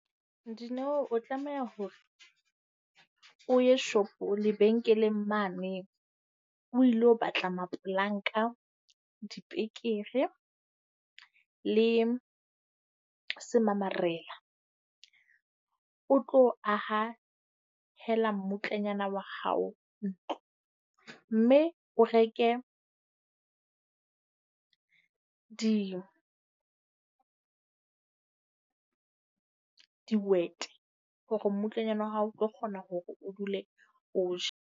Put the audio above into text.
Dineo o tlameha hore o ye shopong lebenkeleng mane o ilo batla mapolanka, dipekere le semamarela. O tlo aha hela mmutlanyana wa hao ntlo. Mme o reke di dihwete, hore mmutlanyana wa hao o tlo kgona hore o dule o ja.